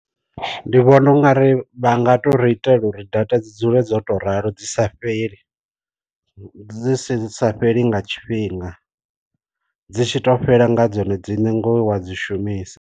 Ndi vhona ungari vha nga to ri itela uri data dzi dzule dzo u to ralo dzi sa fheli, dzi sa fheli nga tshifhinga dzi tshi to fhela nga dzone dzine ngo wa dzi shumisa.